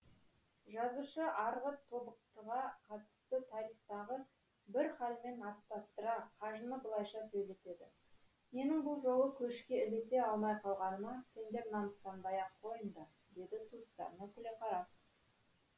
жазушы арғы тобықтыға қатысты тарихтағы бір халмен астастыра қажыны былайша сөйлетеді менің бұл жолы көшке ілесе алмай қалғаныма сендер намыстанбай ақ қойыңдар деді туыстарына күле қарап